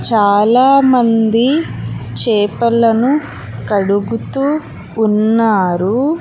చాలా మంది చేపలను కడుగుతూ ఉన్నారు.